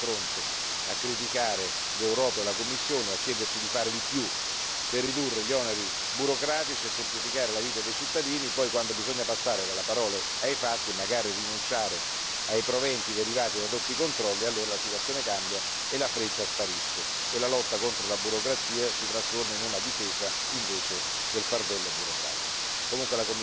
A volte abbiamo l'impressione che le autorità degli Stati membri siano sempre pronte a criticare l'Europa e la Commissione, a chiederci di fare di più per ridurre gli oneri burocratici e semplificare la vita dei cittadini, poi quando bisogna passare dalle parole ai fatti e magari rinunciare ai proventi derivanti da doppi controlli, allora la situazione cambia e la fretta sparisce e la lotta contro la burocrazia si trasforma in una difesa